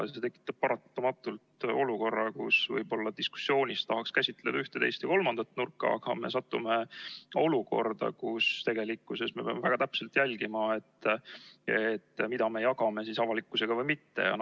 See tekitab paratamatult olukorra, kus võib-olla diskussioonis tahaks käsitleda üht, teist või kolmandat nurka, aga me satume olukorda, kus tegelikkuses me peame väga täpselt jälgima, mida me jagame avalikkusega või ei jaga.